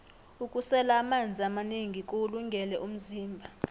ukusela amanzi amanengi kuwulungele umzimba